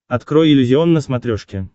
открой иллюзион на смотрешке